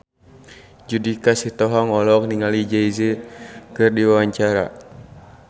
Judika Sitohang olohok ningali Jay Z keur diwawancara